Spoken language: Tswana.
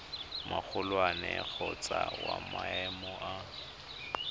magolwane kgotsa wa maemo a